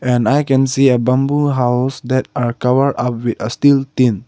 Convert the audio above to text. and i can see a bamboo house that are cover up with steel tin.